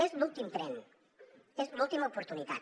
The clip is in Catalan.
és l’últim tren és l’última oportunitat